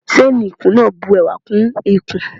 Ṣéénì ikùn máa bu ẹwà kún ikùn.